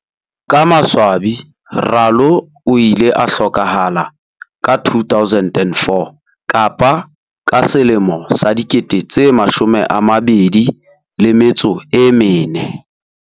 Ka maswabi Ralo o ile a hlokahala ka 2004.